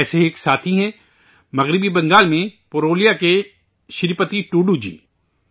ایسے ہی ایک ساتھ ہیں، مغربی بنگال میں پرولیا کے شری پتی ٹوڈو جی